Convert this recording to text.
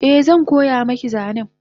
Eh zan koya maki zanen